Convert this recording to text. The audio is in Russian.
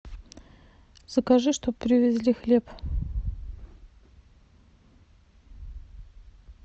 закажи чтоб привезли хлеб